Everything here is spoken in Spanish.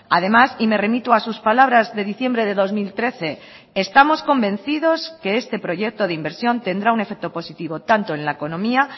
además y me remito a sus palabras de diciembre de dos mil trece estamos convencidos de que este proyecto de inversión tendrá un efecto positivo tanto en la economía